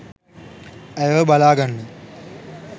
ඇයව බලාගන්න